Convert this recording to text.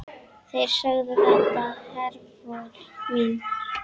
Þeir sögðu þetta, Hervör mín.